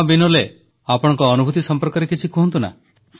ହଁ ବିନୋଲେ ଆପଣଙ୍କ ଅନୁଭୂତି ସମ୍ପର୍କରେ କିଛି କୁହନ୍ତୁ